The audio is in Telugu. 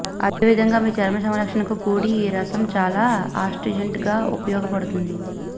అదే విధంగా మీ చర్మ సంరక్షణకు కూడీ ఈ రసం చాలా ఆస్ట్రిజెంట్ గా ఉపయోగపడుతుంది